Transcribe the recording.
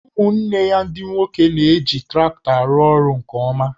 Ụmụnne ya ndị nwoke na-eji traktọ arụ orụ nke ọma